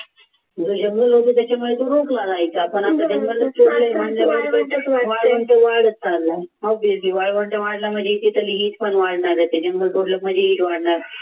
वाळवंट वाढत चालला वाळवंट वाढला म्हणजे पण वाढणार आहे जीव रंगला होता त्याच्यामुळे रोज आता जंगलात सोडलं म्हणजे